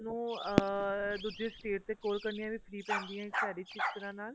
ਉਹ ਅਹ ਦੂਜੀ state ਤੇ call ਕਰਨੀਆ ਵੀ free ਪੈਂਦੀ ਆ ਸਾਡੀ ਸਿਸਟਰਾਂ ਨਾਲ